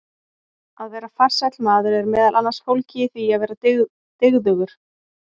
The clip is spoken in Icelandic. Að vera farsæll maður er meðal annars fólgið í því að vera dygðugur.